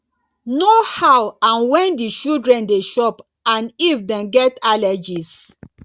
know how and when di children dey chop and if dem get allergies